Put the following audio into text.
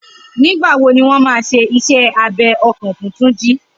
Nigbà wó niwọn mà ṣé iṣẹ àbẹ̀ ọkàn fùn Tunji?